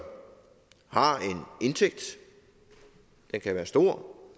har en indtægt den kan være stor